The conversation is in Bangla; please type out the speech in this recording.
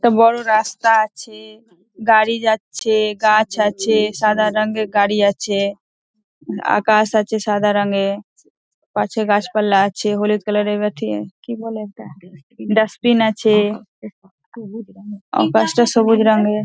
একটা বড় রাস্তা আছে গাড়ি যাচ্ছে গাছ আছে সাদা রঙের গাড়ি আছে আকাশ আছে সাদা রঙে পাশে গাছপালা আছে হলুদ কালার - এর কি বলে ওটা ডাস্টবিন আছে গাছটা সবুজ রঙের ।